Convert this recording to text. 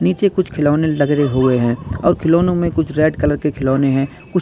नीचे कुछ खिलौने लग रहे हुए हैं और खिलौनों में कुछ रेड कलर के खिलौने हैं। कुछ --